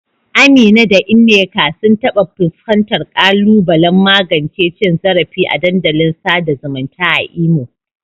Amina da Nneka sun taɓa fuskantar ƙalubalen magance cin zarafi a dandalin sada zumunta a Imo.